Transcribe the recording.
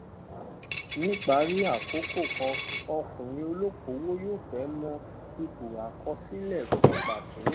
ní ìparí àkókò kan ọkùnrin olókòwò yóò fẹ mọ ipò àkọsílẹ kan pàtó